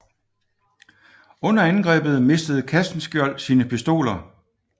Under angrebet mistede Castenskiold sine pistoler